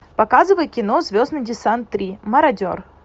показывай кино звездный десант три мародер